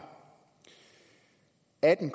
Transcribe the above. atten